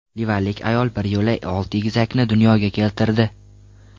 Livanlik ayol bir yo‘la olti egizakni dunyoga keltirdi.